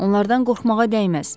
Onlardan qorxmağa dəyməz.